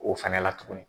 O fɛnɛ la tuguni